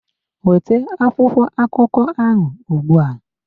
Weta akwụkwọ akụkọ ahụ ugbu a!